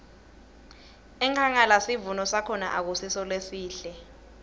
enkhangala sivuno sakhona akusiso lesihle